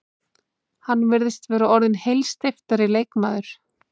Hann virðist vera orðinn heilsteyptari leikmaður.